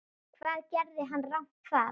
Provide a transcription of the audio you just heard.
Hvað gerði hann rangt þar?